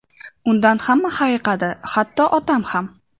Undan hamma hayiqadi, hatto otam ham.